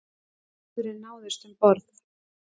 Maðurinn náðist um borð